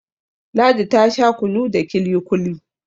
Ladi ta Sha kunu da kili-kuli